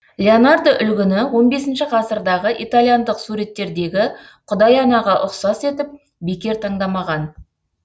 леонардо үлгіні он бесінші ғасырдағы италияндық суреттерегі құдай анаға ұқсас етіп бекер таңдамаған